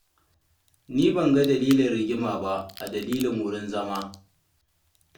Ni ban ga dalilin rigima ba a dalilin wurin zama.